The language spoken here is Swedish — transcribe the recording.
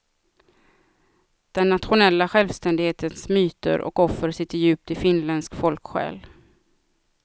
Den nationella självständighetens myter och offer sitter djupt i finländsk folksjäl.